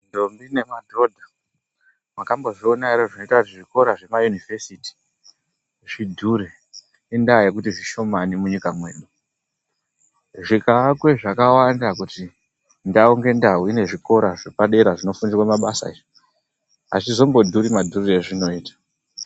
Ndombi nemadhodha makambozvionawo here zvinoenda kuzvikora kuma yunivhesiti kuti zvidhure inyaya yekuti zvishomani mundaraunda medu zvikavakwa zvakawanda kuti ndau nge ndau ine zvikora zvepadera zvinofundirwa mabasa azvizombondiri madhuriro azvinoita.